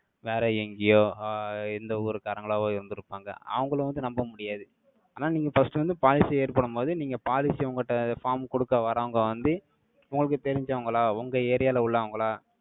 வேற எங்கேயோ, ஆஹ் எந்த ஊர்க்காரங்களாவோ, இருந்திருப்பாங்க. அவங்களை வந்து, நம்ப முடியாது. ஆனா, நீங்க first வந்து, policy ஏற்படும் போது, நீங்க policy உங்க கிட்ட, form குடுக்க வர்றவங்க வந்து, உங்களுக்கு தெரிஞ்சவங்களா, உங்க area ல உள்ளவங்களா?